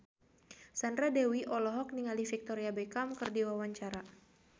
Sandra Dewi olohok ningali Victoria Beckham keur diwawancara